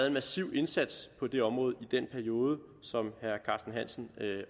en massiv indsats på det område i den periode som herre carsten hansen